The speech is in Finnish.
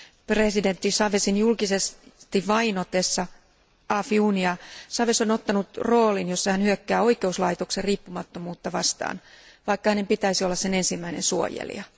Presidentti Chávezin julkisesti vainotessa Afiunia Chávez on ottanut roolin, jossa hän hyökkää oikeuslaitoksen riippumattomuutta vastaan, vaikka hänen pitäisi olla sen ensimmäinen suojelija.